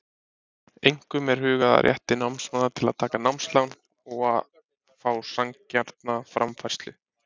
Einkum er hugað að rétti námsmanna til að taka námslán og að fá sanngjarna framfærslu.